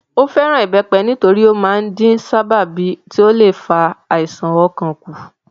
Ó fẹ́ràn ìbẹ́pẹ nítorí ó máa ń dín sábàbí tí ó le fa àisàn ọkàn kù